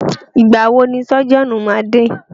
Ìgbà wọ ni sọ́jíọ̀nù máa dé?